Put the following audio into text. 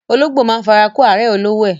Ológbò máa ń fara kó árẹ̀ olówó ẹ.